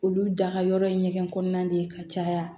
Olu da ka yɔrɔ ɲɛgɛn kɔnɔna de ye ka caya